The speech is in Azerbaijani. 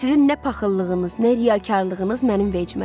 Sizin nə paxıllığınız, nə riyakarlığınız mənim vecimədir.